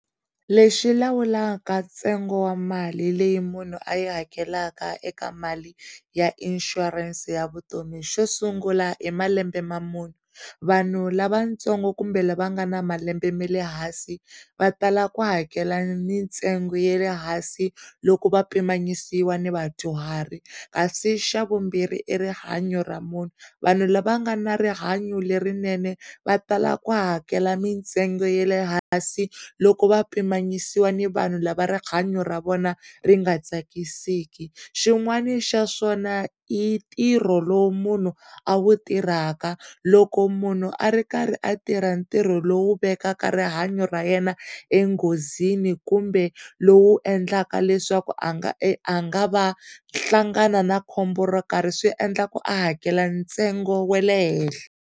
Lexi lawulaka ntsengo wa mali leyi munhu a yi hakelaka eka mali ya inshurense ya vutomi xo sungula i malembe ma mune, vanhu lavatsongo kumbe lava nga na malembe ma le hansi va tala ku hakela mintsengo ya le hansi loko va pimanisiwa ni vadyuhari kasi xa vumbirhi i rihanya ra munhu vanhu lava nga na rihanyo lerinene va tala ku hakela mitsengo yale hansi loko va pimanyisiwaka ni vanhu lava rihanya ra vona ri nga tsakisiki xin'wani xa swona i ntirho lowu munhu a wu tirhaka loko munhu a ri karhi a tirha ntirho lowu vekaka rihanyo ra yena enghozini kumbe lowu endlaka leswaku a nga e, a nga va hlangana na khombo ro karhi swiendlaku leswaku a nga va hakela ntsengo wa le hehla.